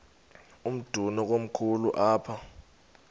umdudo komkhulu apha